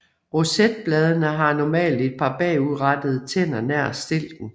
Rosetbladene har normalt et par bagudrettede tænder nær stilken